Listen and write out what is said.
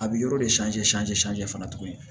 A bɛ yɔrɔ de fana tuguni